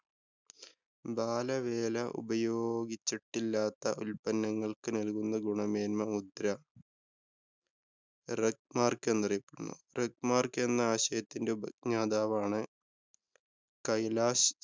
ബാലവേല ഉപയോഗിച്ചിട്ടില്ലാത്ത ഉല്‍പന്നങ്ങള്‍ക്ക് നല്‍കുന്ന മുദ്ര? rugmark എന്നറിയപ്പെടുന്നു. rugmark എന്നാശയത്തിന്‍ടെ ഉപജ്ഞാതാവാണ് കൈലാഷ്‌